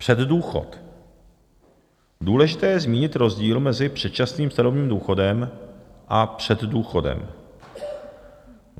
Předdůchod - důležité je zmínit rozdíl mezi předčasným starobním důchodem a předdůchodem.